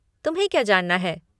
तुम्हें क्या जानना है?